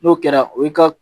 N'o kɛra o ye ka